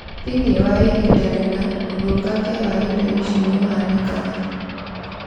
thĩinĩ wa ihinda rĩna, ûthũkangia wa indo ici nĩũhanĩkaga